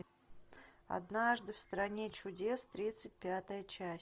однажды в стране чудес тридцать пятая часть